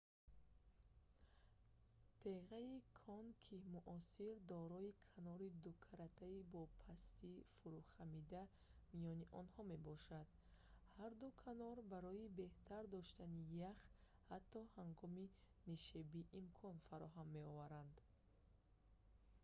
теғаи конкии муосир дорои канори дукаратаи бо пастии фурӯхамида миёни онҳо мебошад ҳар ду канор барои беҳтар доштани ях ҳатто ҳангоми нишебӣ имкон фароҳам меоваранд